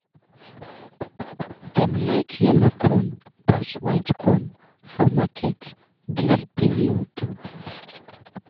dem like yellow corn pass white corn for market this period.